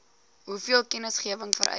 hoeveel kennisgewing vereis